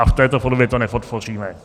A v této podobě to nepodpoříme.